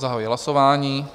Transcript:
Zahajuji hlasování.